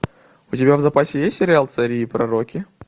у тебя в запасе есть сериал цари и пророки